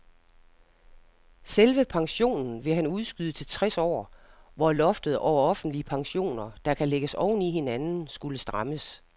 Selve pensionen ville han udskyde til tres år, hvor loftet over offentlige pensioner, der kan lægges oven i hinanden, skulle strammes.